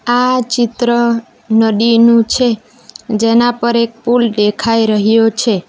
આ ચિત્ર નદીનું છે જેના પર એક પુલ દેખાય રહ્યો છે.